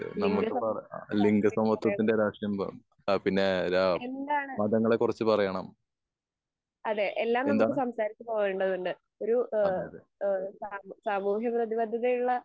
കേന്ദ്ര സം രാക്ഷ്ട്രിയം പറയണം എന്താണ് അതെ എല്ലാം നമ്മുക്ക് സംസാരിച്ച് പോവേണ്ടതുണ്ട് ഒരു ഏഹ് ഏഹ് സാമു സാമൂഹിക പ്രേതി പദ്ധതിയുള്ള